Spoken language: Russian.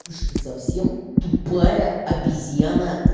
ты что совсем тупая обезьяна